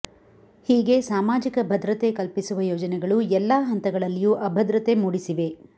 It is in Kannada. ಹೀಗೆ ಸಾಮಾಜಿಕ ಭದ್ರತೆ ಕಲ್ಪಿಸುವ ಯೋಜನೆಗಳು ಎಲ್ಲಾ ಹಂತಗಳಲ್ಲಿಯೂ ಅಭದ್ರತೆ ಮೂಡಿಸಿವೆ